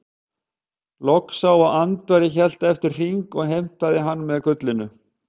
Loki sá að Andvari hélt eftir hring og heimtaði hann með gullinu.